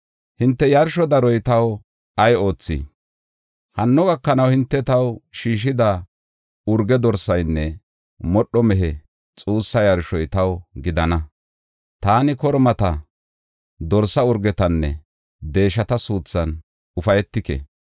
“Hinte yarsho daroy taw ay oothii? Hanno gakanaw hinte taw shiishida urge dorsaanne modho mehe xuussa yarshoy taw gidana. Taani kormata, dorsa urgetanne deeshata suuthan ufaytike.